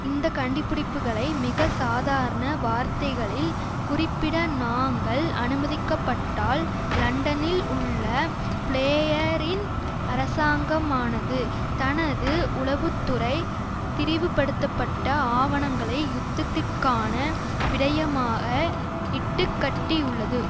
இந்த கண்டிபிடிப்புகளை மிக சாதாரண வார்த்தைகளில் குறிப்பிட நாங்கள் அனுமதிக்கப்பட்டால் லண்டனில் உள்ள பிளேயரின் அரசாங்கமானது தனது உளவு துறை திரிவுபடுத்தப்பட்ட ஆவணங்களை யுத்தத்திற்கான விடயமாக இட்டுக்கட்டியுள்ளது